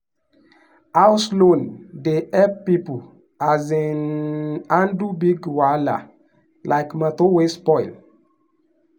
house loan dey help people um handle big wahala like motor wey spoil.